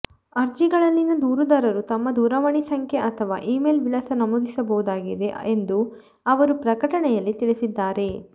ಅರ್ಜಿಗಳಲ್ಲಿ ದೂರುದಾರರು ತಮ್ಮ ದೂರವಾಣಿ ಸಂಖ್ಯೆ ಅಥವಾ ಇಮೇಲ್ ವಿಳಾಸ ನಮೂದಿಸಬಹುದಾಗಿದೆ ಎಂದು ಅವರು ಪ್ರಕಟಣೆಯಲ್ಲಿ ತಿಳಿಸಿದ್ದಾರೆ